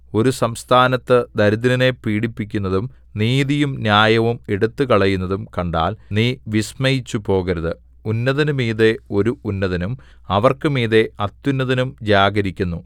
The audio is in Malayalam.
ഒരു സംസ്ഥാനത്ത് ദരിദ്രനെ പീഡിപ്പിക്കുന്നതും നീതിയും ന്യായവും എടുത്തുകളയുന്നതും കണ്ടാൽ നീ വിസ്മയിച്ചുപോകരുത് ഉന്നതനു മീതെ ഒരു ഉന്നതനും അവർക്കുമീതെ അത്യുന്നതനും ജാഗരിക്കുന്നു